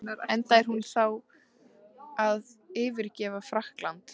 Enda er hún þá að yfirgefa Frakkland.